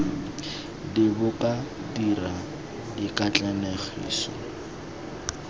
d bo ka dira dikatlanegiso